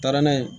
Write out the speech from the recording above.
Taara n'a ye